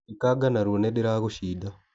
Ekanga narua nĩndĩragũcida.